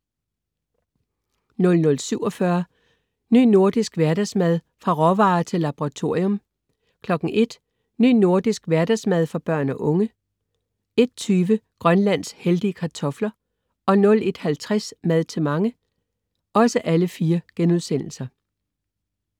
00.47 Ny Nordisk Hverdagsmad. Fra råvarer til laboratorium* 01.00 Ny Nordisk Hverdagsmad for børn og unge* 01.20 Grønlands heldige kartofler* 01.50 Mad til mange*